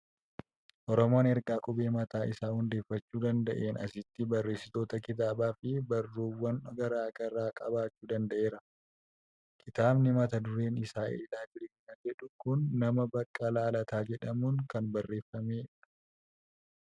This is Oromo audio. Oromoon erga qubee mataa isaa hundeeffachuun danda'een asitti barreesitoota kitaabaa fi barruuwwan garaa garaa qabaachuu danda'ee jira. Kitaabni mata dureen isaa "Eelaa jireenyaa" jedhu kun nama Baqqalaa Lataa jedhamuun kan barreeffamedha.